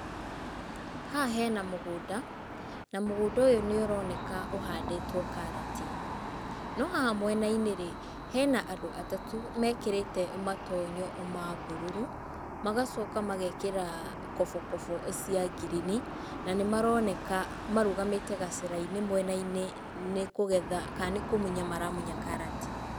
Haha hena mũgũnda, na mũgũnda ũyũ nĩ ũroneka ũhandĩtwo karati. No haha mwena-inĩ rĩ, hena andũ atatũ mekĩrĩte matonyo ma mbururu, magacoka magekĩra kobokobo cia ngirini, na nĩ maroneka marũgamĩte gacĩra-inĩ mwena-inĩ nĩ kũgetha, kana nĩ kũmunya maramunya karati.